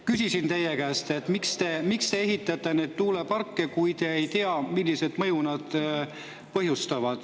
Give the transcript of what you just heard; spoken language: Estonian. Küsisin teie käest, miks te ehitate neid tuuleparke, kui te ei tea, millist mõju nad põhjustavad.